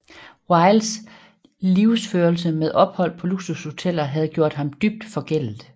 Wildes livsførelse med ophold på luksushoteller havde gjort ham dybt forgældet